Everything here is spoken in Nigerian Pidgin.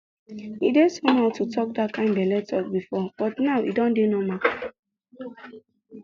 e dey somehow to talk that kind belle talk before but now e don dey normal